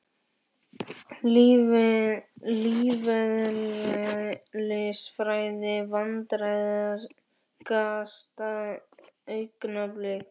Lífeðlisfræði Vandræðalegasta augnablik?